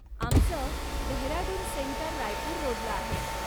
आमचं डेहराडून सेंटर रायपुर रोडला आहे.